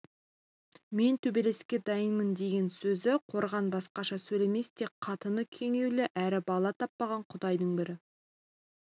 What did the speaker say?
мен төбелеске дайынмын деген сөзі қорған басқаша сөйлемес тек қатыны күңейлеу әрі бала таппаған құдайдың бір